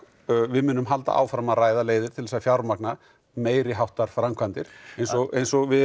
við munum halda áfram að ræða leiðir til þess að fjármagna meiriháttar framkvæmdir eins og eins og við